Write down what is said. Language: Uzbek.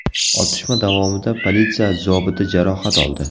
Otishma davomida politsiya zobiti jarohat oldi.